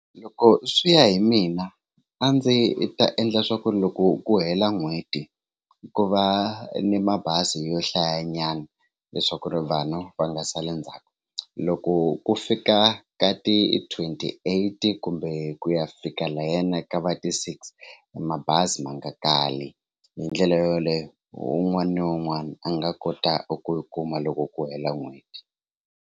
Loko swi ya hi mina a ndzi ta endla leswaku loko ku hela n'hweti ku va ni mabazi yo hlayanyana leswaku ri vanhu va nga saleli ndzhaku loko ku fika ka ti twenty eight kumbe ku ya fika layana ka va ti six mabazi ma nga kali hi ndlela yoleyo un'wana na un'wana a nga kota ku yi kuma loko ku hela n'hweti.